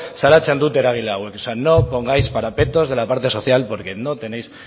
salatzen dute eragile hauek no pongáis parapetos de la parte social porque no tenéis